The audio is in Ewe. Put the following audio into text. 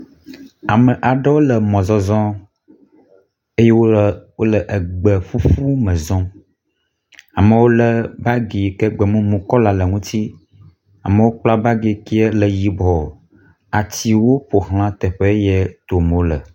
Ame aɖewo le mɔzɔzɔ eye wole egbe ƒuƒu me zɔm. amewo lé bagi yike gbe mumu kɔla le ŋuti, amewo kpla bagi yike le yibɔ. Atiwo ƒo xla teƒe ye tom wole.